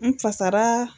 N fasara